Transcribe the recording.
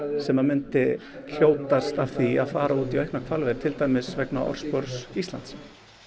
sem að myndi hljótast af því að fara út í auknar hvalveiðar til dæmis vegna orðspors Íslands